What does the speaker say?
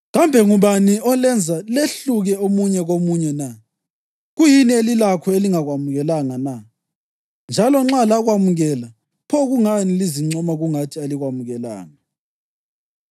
Kambe ngubani olenza lehluke omunye komunye na? Kuyini elilakho elingakwamukelanga na? Njalo nxa lakwamukela, pho kungani lizincoma kungathi alikwamukelanga?